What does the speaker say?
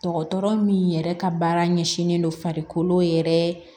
Dɔgɔtɔrɔ min yɛrɛ ka baara ɲɛsinnen don farikolo yɛrɛ